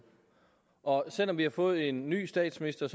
og selv om vi har fået en ny statsminister